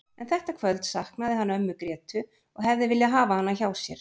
En þetta kvöld saknaði hann ömmu Grétu og hefði viljað hafa hana hjá sér.